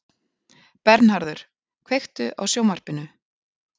Bernharður, kveiktu á sjónvarpinu.